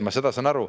Ma saan sellest aru.